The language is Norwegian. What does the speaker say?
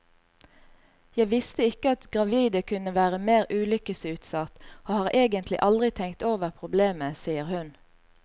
Jeg visste ikke at gravide kunne være mer ulykkesutsatt, og har egentlig aldri tenkt over problemet, sier hun.